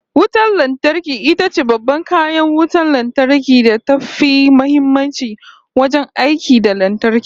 Wayar lantarki itace babban kayan wutan lantarki da tafi muhimmanci wajen aiki da lantarki